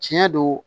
Tiɲɛ do